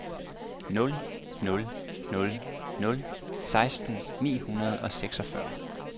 nul nul nul nul seksten ni hundrede og seksogfyrre